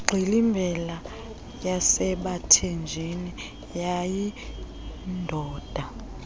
ingxilimbela yasebathenjini wayeyindoda